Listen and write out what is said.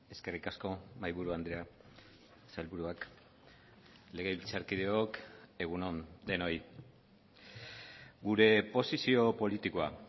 eskerrik asko mahaiburu andrea sailburuak legebiltzarkideok egun on denoi gure posizio politikoa